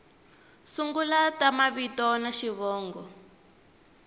sungula ta mavito na xivongo